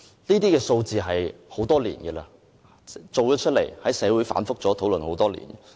這些數字已經存在很多年，亦在社會上反覆討論多年。